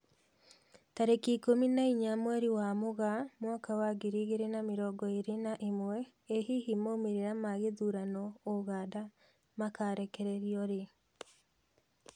Tarĩki ikũmi na inya mweri wa Mũgaa mwaka wa ngiri igĩri na mĩrongo ĩri na ĩmwe, ĩ hihi maumĩrĩra ma gĩthurano Uganda makarekererio rĩ?